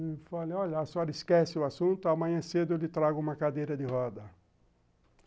Ele falou, olha, a senhora esquece o assunto, amanhã cedo eu lhe trago uma cadeira de roda.